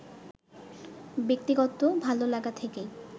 ব্যক্তিগত ভালো লাগা থেকেই